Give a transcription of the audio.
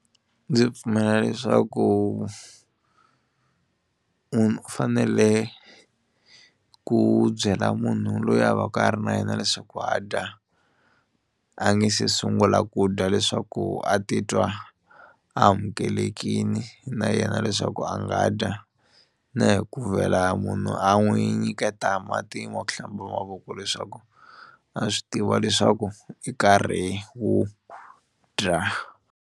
Ndzi pfumela leswaku munhu fanele ku byela munhu loyi a va ka a ri na yena leswaku a dya a nge se sungula ku dya leswaku a titwa a amukelekini na yena leswaku a nga dya na hi ku vhela munhu a n'wi nyiketa mati ma ku hlamba mavoko leswaku a swi tiva leswaku i nkarhi wo dya.